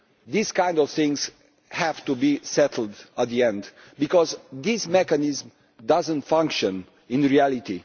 These kind of things have to be settled in the end, because this mechanism does not function in reality.